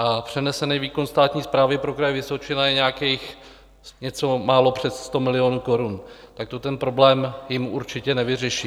A přenesený výkon státní správy pro Kraj Vysočina je nějakých něco málo přes 100 milionů korun, tak to ten problém jim určitě nevyřeší.